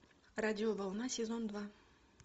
радиоволна сезон два